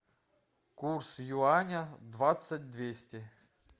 курс юаня двадцать двести